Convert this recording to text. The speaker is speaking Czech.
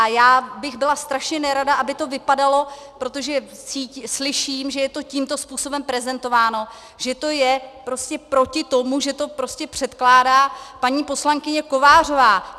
A já bych byla strašně nerada, aby to vypadalo, protože slyším, že je to tímto způsobem prezentováno, že to je prostě proti tomu, že to prostě předkládá paní poslankyně Kovářová.